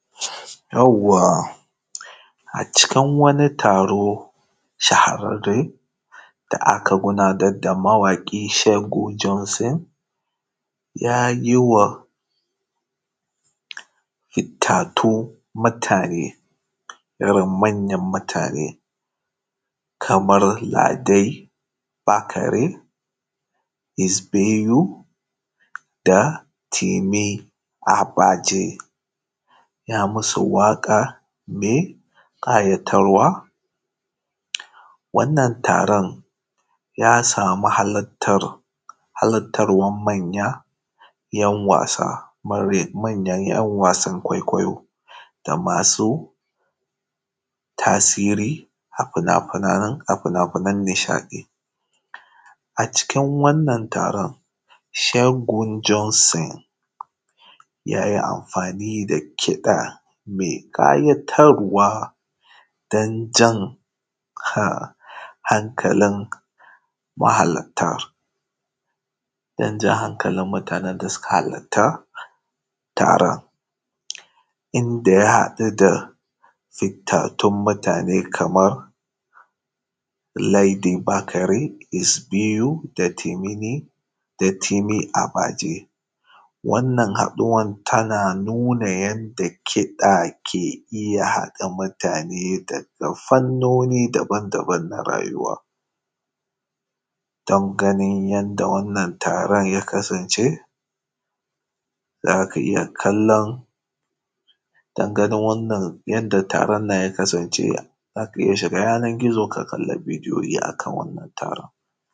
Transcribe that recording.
Yauwa, a cikin wani taro shahararre da aka gabatar, mawaki Doyin Janson ya yi wa fitattun mutane irin manyan mutane kamar Ladai Bakari, Hisbeyu da Temi Abaje waƙa mai kayatarwa. Wannan taron ya sami halartar manyan ‘yan wasan kwaikwayo da masu tasiri a fina-finan nishaɗi. A cikin wannan taron, Shegun Jonsun ya yi amfani da kiɗa mai kayatarwa don jan hankalin mahalarta, inda ya haɗu da fitattun mutane kamar Ledi Bakare, Isbiyu da Temini Abaje. Wannan haɗuwar tana nuna yadda kiɗa ke iya haɗa mutane daga fannoni daban-daban na rayuwa. Dangane da yadda wannan taron ya kasance, za ka iya shiga yanar gizo ka kalla bidiyoyi a kan wannan taron.